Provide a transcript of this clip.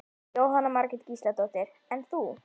Jóhanna Margrét Gísladóttir: En þú?